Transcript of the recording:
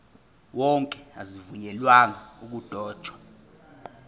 wonke azivunyelwanga ukudotshwa